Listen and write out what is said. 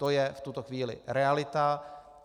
To je v tuto chvíli realita.